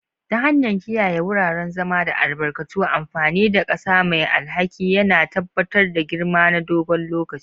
Ta hanyar kiyaye wuraren zama da albarkatu, amfani da ƙasa mai alhakin yana tabbatar da girma na dogon lokaci.